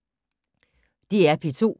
DR P2